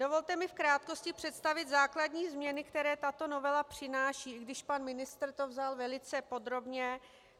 Dovolte mi v krátkosti představit základní změny, které tato novela přináší, i když pan ministr to vzal velice podrobně.